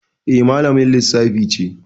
Eh, malamin Lissafi ce